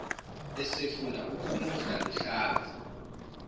esefuna ukumudla luhlaza